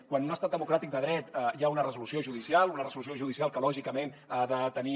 quan en un estat democràtic de dret hi ha una resolució judicial una resolució judicial que lògicament ha de tenir